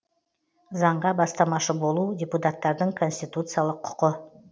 заңға бастамашы болу депуттардың конституциялық құқы